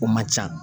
O man ca